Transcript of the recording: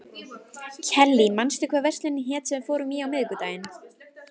Kellý, manstu hvað verslunin hét sem við fórum í á miðvikudaginn?